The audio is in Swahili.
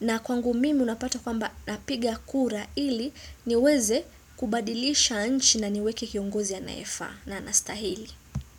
na kwangu mimi unapata kwamba napiga kura ili niweze kubadilisha nchi na niweke kiongozi anayefaa na anastahili.